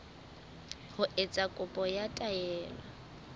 ho etsa kopo ya taelo